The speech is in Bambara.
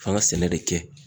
F'an ga sɛnɛ de kɛ.